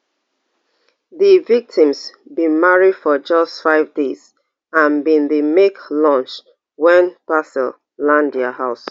di victims bin marry for just five days and bin dey make lunch wen parcel land dia house